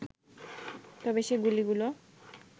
তবে সে গুলিগুলো